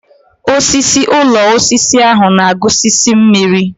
Osisi ụlọ osisi ahụ na-agusisi mmiri.